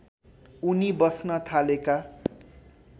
उनी बस्न थालेका